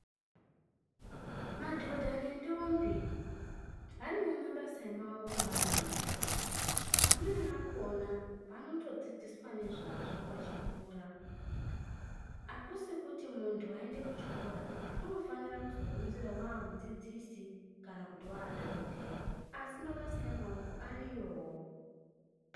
Madhodha nentombi vanewo mabasa emaoko avanoita. Amweni akhona vanotodzidziswa nezvazvo vachikura. Akusi kuti muntu waende kuchikora unofanira kuzogumisira aamudzidzisi kana dhokodheya asi pabasa emaoko ariyowo.